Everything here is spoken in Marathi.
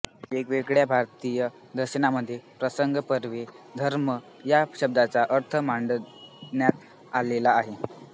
वेगवेगळ्या भारतीय दर्शनांमध्ये प्रसंगपरत्वे धर्म या शब्दाचा अर्थ मांडण्यात आलेला आहे